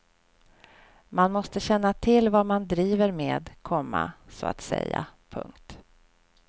Man måste känna till vad man driver med, komma så att säga. punkt